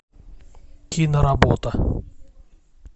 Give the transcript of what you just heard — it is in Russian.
киноработа